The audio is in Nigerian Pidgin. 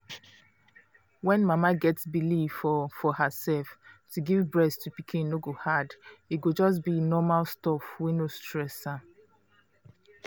when mama get believe for for herself to give breast to pikin no go hard e go just be normal stuff wey no stress am.